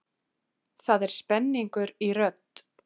Það er spenningur í rödd